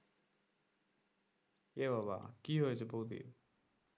এ বাবা কি হয়েছে বৌদির?